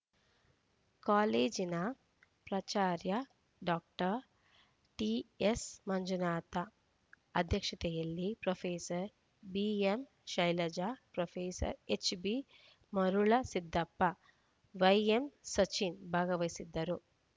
ಕಾಲೇಜಿನ ಪ್ರಾಚಾರ್ಯ doctor TS Manjunatha ಅಧ್ಯಕ್ಷತೆಯಲ್ಲಿ professor BM Shailaja professor HB Marulasiddappa YM Sachin ಭಾಗವಹಿಸಿದ್ದರು